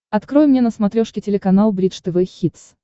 открой мне на смотрешке телеканал бридж тв хитс